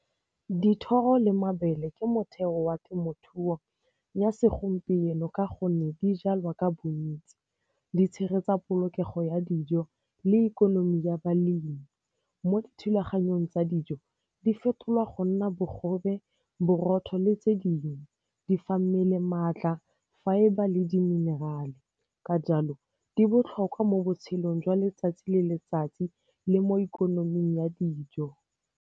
Dithoro le mabele ke motheo wa temothuo ya segompieno ka gonne di jalwa ka bontsi, di tshegetsa polokego ya dijo le ikonomi ya balemi. Mo dithulaganyong tsa dijo, di fetolwa go nna bogobe, borotho le tse dingwe. Di fa mmele maatla, fibre le di-mineral-e, ka jalo di botlhokwa mo botshelong jwa letsatsi le letsatsi le mo ikonoming ya dijo.